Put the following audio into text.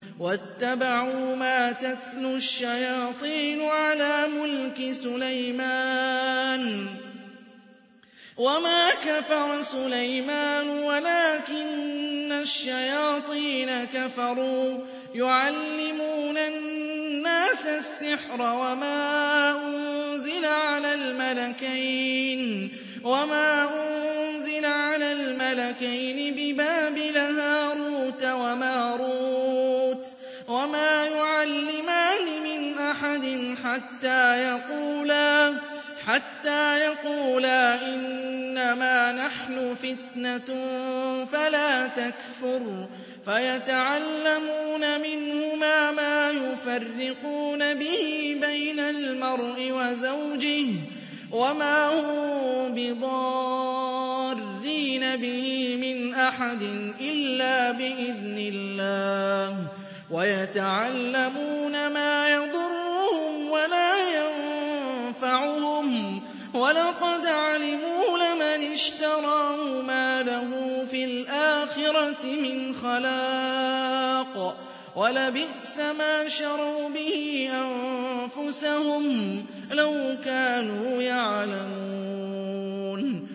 وَاتَّبَعُوا مَا تَتْلُو الشَّيَاطِينُ عَلَىٰ مُلْكِ سُلَيْمَانَ ۖ وَمَا كَفَرَ سُلَيْمَانُ وَلَٰكِنَّ الشَّيَاطِينَ كَفَرُوا يُعَلِّمُونَ النَّاسَ السِّحْرَ وَمَا أُنزِلَ عَلَى الْمَلَكَيْنِ بِبَابِلَ هَارُوتَ وَمَارُوتَ ۚ وَمَا يُعَلِّمَانِ مِنْ أَحَدٍ حَتَّىٰ يَقُولَا إِنَّمَا نَحْنُ فِتْنَةٌ فَلَا تَكْفُرْ ۖ فَيَتَعَلَّمُونَ مِنْهُمَا مَا يُفَرِّقُونَ بِهِ بَيْنَ الْمَرْءِ وَزَوْجِهِ ۚ وَمَا هُم بِضَارِّينَ بِهِ مِنْ أَحَدٍ إِلَّا بِإِذْنِ اللَّهِ ۚ وَيَتَعَلَّمُونَ مَا يَضُرُّهُمْ وَلَا يَنفَعُهُمْ ۚ وَلَقَدْ عَلِمُوا لَمَنِ اشْتَرَاهُ مَا لَهُ فِي الْآخِرَةِ مِنْ خَلَاقٍ ۚ وَلَبِئْسَ مَا شَرَوْا بِهِ أَنفُسَهُمْ ۚ لَوْ كَانُوا يَعْلَمُونَ